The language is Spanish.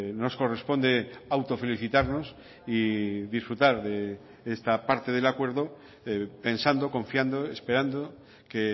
nos corresponde autofelicitarnos y disfrutar de esta parte del acuerdo pensando confiando esperando que